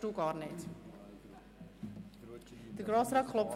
Wir führen eine freie Debatte.